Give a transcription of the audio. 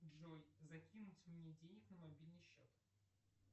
джой закинуть мне денег на мобильный счет